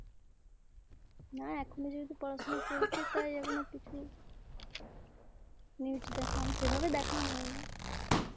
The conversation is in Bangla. না এখনো যেহেতু পড়াশুনা চলছে তাই এখনো কিছু news দেখা সেভাবে দেখা হয়েনা